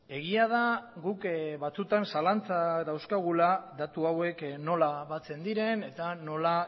egia da guk batzuetan zalantzak dauzkagula datu hauek nola batzen diren eta nola